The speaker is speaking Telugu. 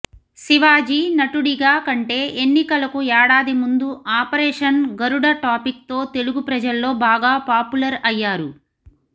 శివాజీ నటుడిగా కంటే ఎన్నికలకు ఏడాది ముందు ఆపరేషన్ గరుడ టాపిక్ తో తెలుగు ప్రజల్లో బాగా పాపులర్ అయ్యారు